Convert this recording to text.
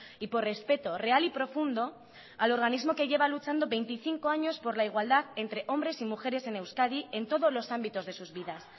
y por respeto real y profundo al organismo que lleva luchando veinticinco años por la igualdad entre hombres y mujeres en euskadi en todos los ámbitos de sus vidas